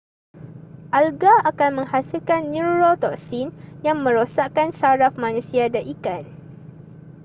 alga akan menghasilkan neurotoksin yang merosakkan saraf manusia dan ikan